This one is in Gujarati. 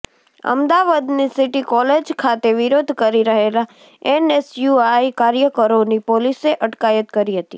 અમદાવાદની સિટી કોલેજ ખાતે વિરોધ કરી રહેલા એનએસયુઆઈ કાર્યકરોની પોલીસે અટકાયત કરી હતી